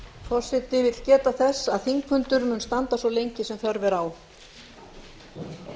forseti vill geta þess að þingfundur mun standa svo lengi sem þörf er á